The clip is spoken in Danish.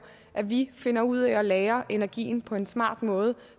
at vi finder ud af at lagre energien på en smart måde